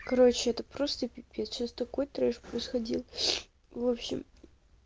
короче это просто пипец сейчас такой трэш происходил в общем